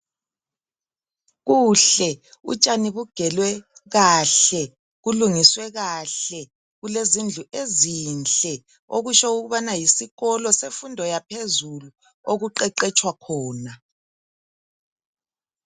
Kuhle untshani bugelwe kahle kulungiswe kahle kulezindlu ezinhle okutsho ukubana yisikolo semfundo yaphezulu okuqeqetshwa khona.